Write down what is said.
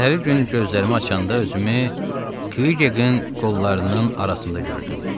Səhəri gün gözlərimi açanda özümü Kvikin qollarının arasında gördüm.